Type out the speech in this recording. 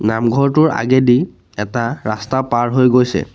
নামঘৰটোৰ আগেদি এটা ৰাস্তা পাৰ হৈ গৈছে।